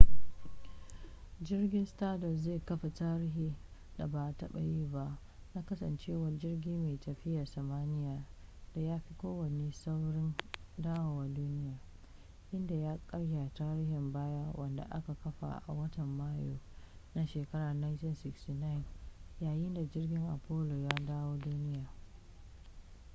jirgin stardust zai kafa tarihin da ba a taba yi ba na kasancewa jirgi mai tafiya samaniya da ya fi kowanne saurin dawowa duniya inda ya karya tarihin baya wanda aka kafa a watan mayu na shekarar 1969 yayin da jirgin apollo ya dawo duniya